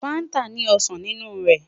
Fanta ni osan ninu rẹ